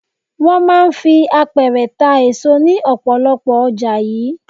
Wọ́n máa ń fi àpẹrẹ ta èso ní ọ̀pọ̀lọpọ̀ ọjà yìí.